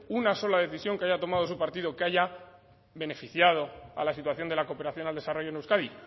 una sola decisión que haya tomado su partido que haya beneficiado a la situación de la cooperación al desarrollo en euskadi